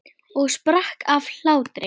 Og sprakk af hlátri.